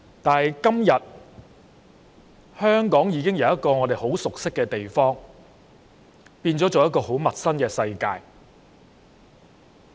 但是，今天香港已經由我們很熟悉的地方，變為很陌生的世界。